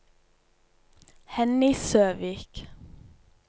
Henny Søvik